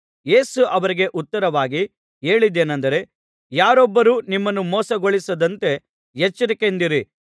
ಯೇಸು ಅವರಿಗೆ ಉತ್ತರವಾಗಿ ಹೇಳಿದ್ದೇನೆಂದರೆ ಯಾರೊಬ್ಬರೂ ನಿಮ್ಮನ್ನು ಮೋಸಗೊಳಿಸದಂತೆ ಎಚ್ಚರಿಕೆಯಿಂದಿರಿ